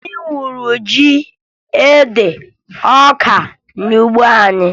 Anyị wuru ji, ede, na ọka n'ugbo anyị